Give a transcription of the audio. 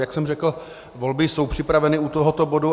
Jak jsem řekl, volby jsou připraveny u tohoto bodu.